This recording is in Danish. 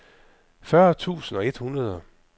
fyrre tusind et hundrede